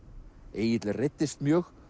Egill reiddist mjög